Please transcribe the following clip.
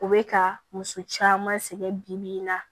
U bɛ ka muso caman sɛgɛn bi bi in na